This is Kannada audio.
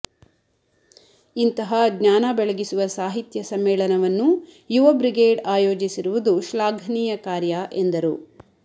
ಇಂತಹ ಜ್ಞಾನ ಬೆಳಗಿಸುವ ಸಾಹಿತ್ಯ ಸಮ್ಮೇಳನವನ್ನು ಯುವ ಬ್ರಿಗೇಡ್ ಆಯೋಜಿಸಿರುವುದು ಶ್ಲಾಘನೀಯ ಕಾರ್ಯ ಎಂದರು